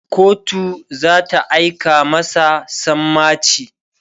kotu zata aika masa sammaci